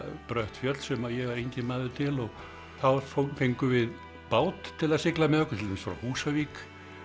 brött fjöll sem ég var enginn maður til og þá fengum við bát til að sigla með okkur til dæmis frá Húsavík